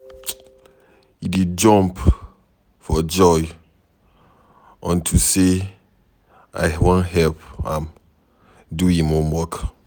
He dey jump for joy unto say I wan help am do im homework.